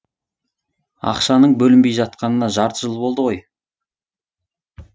ақшаның бөлінбей жатқанына жарты жыл болды ғой